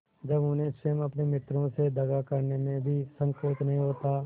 जब उन्हें स्वयं अपने मित्रों से दगा करने में भी संकोच नहीं होता